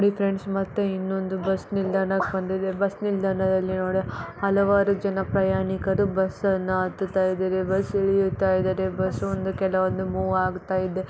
ನೋಡಿ ಫ್ರೆಂಡ್ಸ್ ಮತ್ತೆ ಇನೊಂದು ಬಸ್ ನಿಲ್ದಾಣಕ್ಕೆ ಬಂದಿದಾರೆ ಬಸ್ ನನಿಲ್ದಾಣಕ್ಕೆ ಬಂದಿದೆ ಬಸ್ ನಿಲ್ದಾಣದಲ್ಲಿ ನೋಡಿ ಹಲವಾರು ಪ್ರಯಾಣಿಕರು ಬಸ್ ಅನ್ನ ಹತ್ತತಾ ಇದಾರೆ ಬಸ್ ಇಲ್ಲಿಯುತ ಇದಾರೆ ಬಸ್ ಒಂದು ಕೆಲವಂದು ಮೂವ್ ಆಗ್ತಾ ಇದೆ.